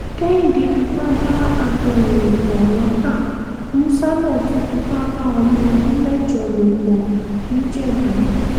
kẹ́hìndé fipá bá abirùn lò pọ̀ lọ́tà musa náà tún fipá bá ọmọ ọdún mẹ́jọ lò pọ̀ nìjẹ́bù